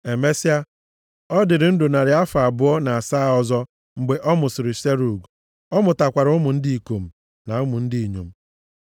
Emesịa, ọ dịrị ndụ narị afọ abụọ na asaa ọzọ, mgbe ọ mụsịrị Serug, ọ mụtakwara ụmụ ndị ikom na ụmụ ndị inyom.